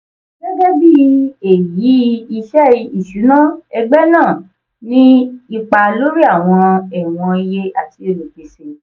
gẹ́gẹ́ bí èyí iṣẹ́ ìṣúná ẹgbẹ́ náà ní ipa lórí àwọn ẹ̀wọ̀n iye àti olùpèsè.